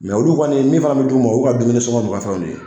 olu kɔni min fana bɛ d'u ma u y'u ka dumuni sɔgɔn n'u ka fɛnw de ye.